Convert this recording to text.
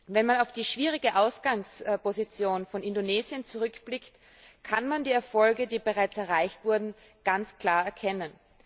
Wenn man auf die schwierige Ausgangsposition von Indonesien zurückblickt, kann man die Erfolge, die bereits erreicht wurden, ganz klar erkennen.